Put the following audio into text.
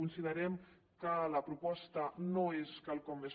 considerem que la proposta no és quelcom més